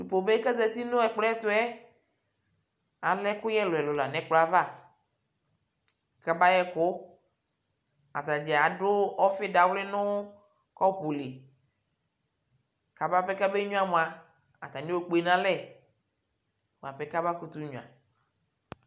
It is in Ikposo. Kube kazati ɲɛgblɔɛtʊɛ alɛkʊyɛ lʊɛlʊ ɲɛgblɔava kabayɛkʊ atadza adʊ ɔvɩ dawlɩ ɲʊ kɔpʊli kababe ŋyuamʊa ataɲiɔkpe ɲalɛ bʊapɛ kabaƙʊtʊ ŋyua